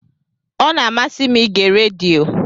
Ọ na-amasị m ige redio.